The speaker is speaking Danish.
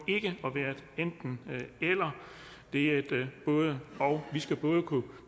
enten eller det er et både og vi skal både kunne